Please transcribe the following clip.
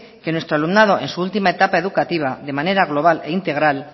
que nuestro alumnado en su última etapa educativa de manera global e integral